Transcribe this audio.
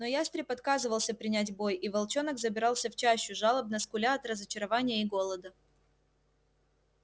но ястреб отказывался принять бой и волчонок забирался в чащу жалобно скуля от разочарования и голода